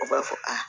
U b'a fɔ aa